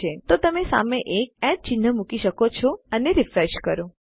તો તમે સામે એક એટ ચિન્હ મૂકી શકો છો અને રીફ્રેશ કરો